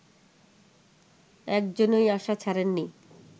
একজনই আশা ছাড়েন নি